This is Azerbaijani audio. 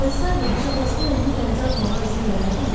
Ayılsaydı, heç atasına özünü dənizə atmağa izin verərdimi?